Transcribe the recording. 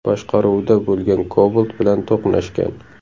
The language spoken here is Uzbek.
boshqaruvida bo‘lgan Cobalt bilan to‘qnashgan.